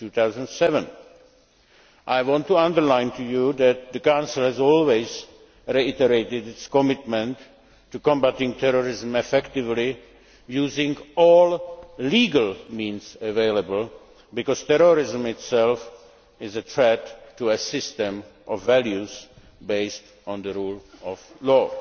2007. I want to underline to you that the Council has always reiterated its commitment to combating terrorism effectively, using all legal means available, because terrorism itself is a threat to a system of values based on the rule of